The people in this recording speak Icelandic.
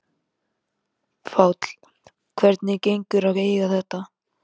Páll: Hvernig gengur að eiga við þetta?